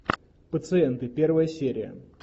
пациенты первая серия